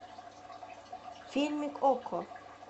фильмик окко